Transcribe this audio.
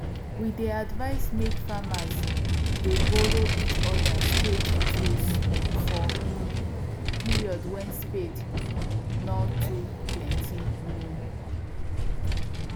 we dey advice make farmers dey borrow each other spade tools for um period wen spade nor too plenty um